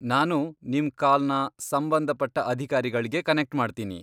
ನಾನು ನಿಮ್ ಕಾಲ್ನ ಸಂಬಂಧಪಟ್ಟ ಅಧಿಕಾರಿಗಳ್ಗೆ ಕನೆಕ್ಟ್ ಮಾಡ್ತೀನಿ.